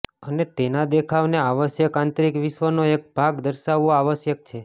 અને તેના દેખાવને આવશ્યક આંતરિક વિશ્વનો એક ભાગ દર્શાવવો આવશ્યક છે